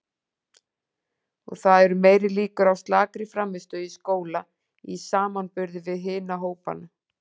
Og það eru meiri líkur á slakri frammistöðu í skóla í samanburði við hina hópana.